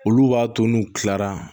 Olu b'a to n'u kilara